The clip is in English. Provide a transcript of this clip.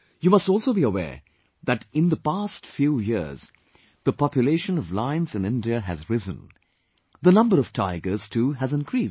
You must also be aware that in the past few years, the population of lions in India has risen; the number of tigers too has increased